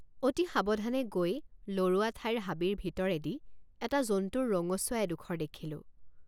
অতি সাৱধানে গৈ লৰোৱা ঠাইৰ হাবিৰ ভিতৰেদি এটা জন্তুৰ ৰঙচুৱা এডোখৰ দেখিলোঁ।